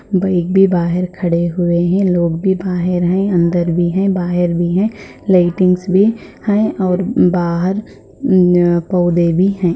Bike भी बाहर खड़े हुए है लोग भी बाहर है अंदर भी है बाहर भी है लाइटिंग्स भी है और बाहर पौधे भी है।